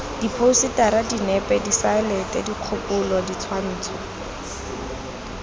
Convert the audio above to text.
diphousetara dinepe diselaete dikgopolo ditshwantsho